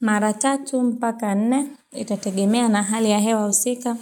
Mara 3 mpaka 4 itategemea na hali ya hewa husika